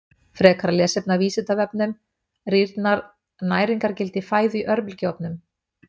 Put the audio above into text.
Frekara lesefni af Vísindavefnum:: Rýrnar næringargildi fæðu í örbylgjuofnum?